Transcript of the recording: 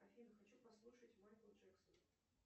афина хочу послушать майкла джексона